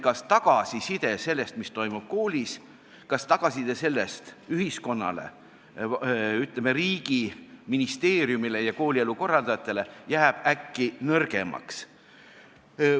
Ja tõepoolest selline suur mure oli, kas tagasiside ühiskonnale, ütleme, riigi ministeeriumile ja koolielu korraldajatele sellest, mis toimub koolis, jääb äkki nõrgemaks.